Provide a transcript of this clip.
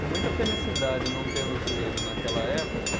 Com muita felicidade não tê-los lido naquela época.